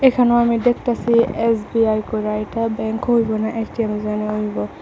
এইখানেও আমি দেখতাসি এস_বি_আই কইরা এইটা ব্যাংক হইব না এ_টি_এম যেন হইব।